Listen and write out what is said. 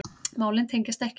Málin tengjast ekki.